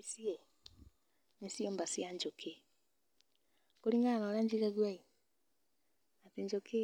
Ici ĩ ni ciumba cia njũkĩ kũringana na ũrĩa njigagua ĩĩ atĩ njũkĩ